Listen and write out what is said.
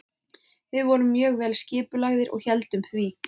Við vorum mjög vel skipulagðir og héldum því.